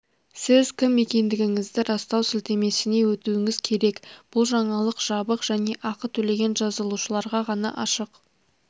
сіз кім екендігіңізді растау сілтемесіне өтуіңіз керек бұл жаңалық жабық және ақы төлеген жазылушыларға ғана ашық